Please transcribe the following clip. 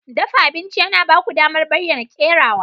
Dafa abinci yana ba ku damar bayyana kerawa.